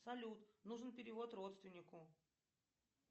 салют нужен перевод родственнику